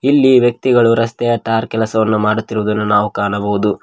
ಇಲ್ಲಿ ವ್ಯಕ್ತಿಗಳು ರಸ್ತೆಯ ಟಾರ್ ಕೆಲಸವನ್ನು ಮಾಡುತ್ತಿರುವುದನ್ನು ನಾವು ಕಾಣಬಹುದು.